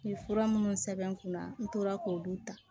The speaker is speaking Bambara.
Ni fura minnu sɛbɛn n kunna n tora k'olu ta